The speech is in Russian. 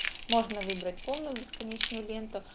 можно выбрать полную бесконечную ленту